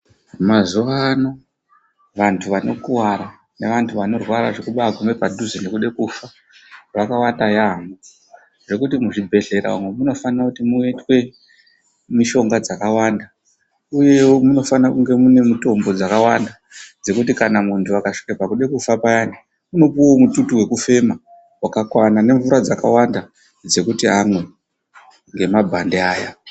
Mazuva ano vantu vano kuvara nevantu vanorwa zvekugume padhuze nekufa yawanda yambo nekuti muzvibhedhlera umu munofanirwe kuti muitwe mishonga dzakawanda uyewo munofanirwe kunge mune mutombo dzakawanda dzekuti kana muntu akasvike pakude kufa payani anopiwa mututu wekufema waka kwana nemvura dzakawanda dzekuti amwe nemabhandi ayani.